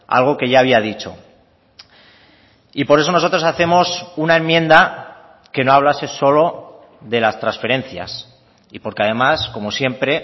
algo que ya había dicho y por eso nosotros hacemos una enmienda que no hablase solo de las transferencias y porque además como siempre